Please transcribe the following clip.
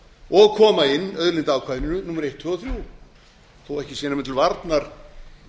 og koma inn auðlindaákvæðinu númer eitt tvö og þrjú þó ekki sé nema til varnar